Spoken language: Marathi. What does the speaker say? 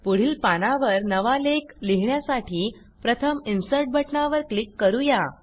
पुढील पानावर नवा लेख लिहिण्यासाठी प्रथम इन्सर्ट बटणावर क्लिक करू या